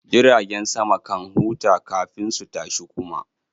Jiragen sama kan huta kafin su tashi kuma